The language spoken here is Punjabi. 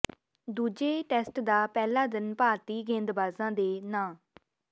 ਦੂਜੇ ਟੈਸਟ ਦਾ ਪਹਿਲਾ ਦਿਨ ਭਾਰਤੀ ਗੇਂਦਬਾਜ਼ਾਂ ਦੇ ਨਾਂ